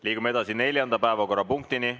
Liigume edasi neljanda päevakorrapunkti juurde.